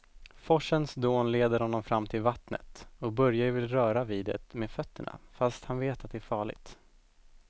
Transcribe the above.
Forsens dån leder honom fram till vattnet och Börje vill röra vid det med fötterna, fast han vet att det är farligt.